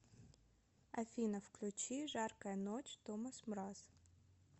афина включи жаркая ночь томас мраз